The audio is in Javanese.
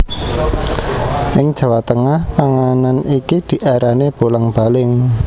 Ing Jawa Tengah panganan iki diarani bolang baling